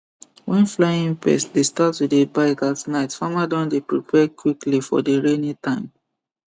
when flying pest dey start to dey bite at night farmer don dey prepare quickly for the rainy time